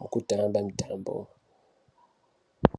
mukutamba mitambo.